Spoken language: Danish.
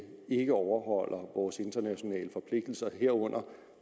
ikke overholder vores internationale forpligtelser herunder